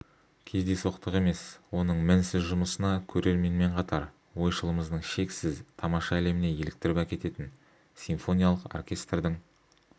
кездейсоқтық емес оның мінсіз жұмысына көрерменмен қатар ойшылымыздың шексіз тамаша әлеміне еліктіріп әкететін симфониялық оркестрдің